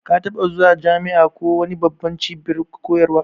Ka taɓa zuwa jami'a ko wani babban cibiyar koyarwa?